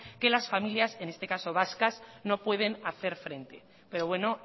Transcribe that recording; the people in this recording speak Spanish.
que las familias en este caso vascas no pueden hacer frente pero bueno